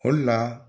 O de la